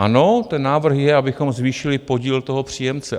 Ano, ten návrh je, abychom zvýšili podíl toho příjemce.